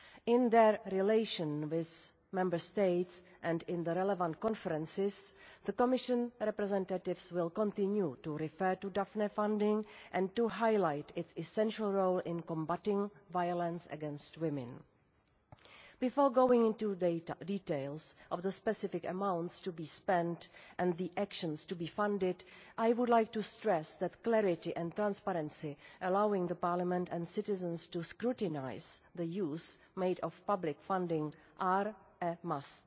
In their relations with Member States and in the relevant conferences, the Commission representatives will continue to refer to Daphne funding and to highlight its essential role in combating violence against women. Before going into the details of the specific amounts to be spent and the actions to be funded, I would like to stress that clarity and transparency allowing Parliament and citizens to scrutinise the use made of public funding are a must.